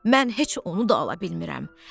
Mən heç onu da ala bilmirəm.